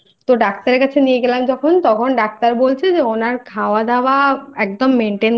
তো Doctor এর কাছে নিয়ে গেলাম যখন তখন Doctor